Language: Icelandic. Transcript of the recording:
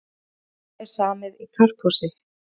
Áfram er samið í karphúsi